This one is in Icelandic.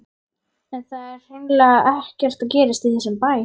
En það er hreinlega ekkert að gerast í þessum bæ.